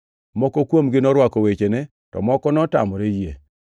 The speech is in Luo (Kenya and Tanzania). Moko kuomgi norwako wechene, to moko notamore yie.